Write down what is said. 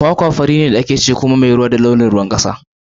Kwakwa fari ce a ciki kuma tana da ruwa a ciki mai launin ruwan kasa mai gashi.